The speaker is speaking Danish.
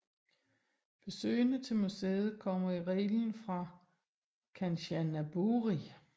Besøgende til museet kommer i reglen fra Kanchanaburi